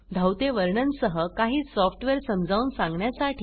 धावते वर्णन सह काही सॉफ्टवेअर समजावून सांगण्यासाठी